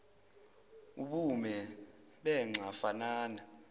ubume benxa fanana